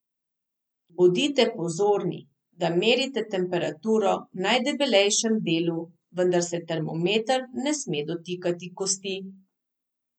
Bodite pozorni, da merite temperaturo v najdebelejšem delu, vendar se termometer ne sme dotikati kosti.